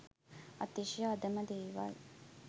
අතිශය අධම දේවල්